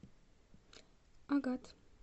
агат